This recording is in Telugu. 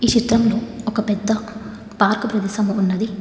ఈ చిత్రంలో ఒక పెద్ద పార్కు ప్రదేశం ఉన్నది.